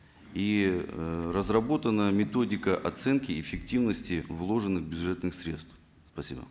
и э разработана методика оценки эффективности вложенных бюджетных средств спасибо